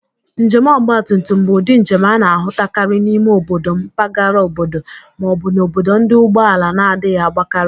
Njem ọgbatụmtum bụ ụdị njem a na-ahụtakarị n'ime obodo, mbagara obodo, ma ọ bụ n'obodo ndị ụgbọ ala na-adịghị agbakarị.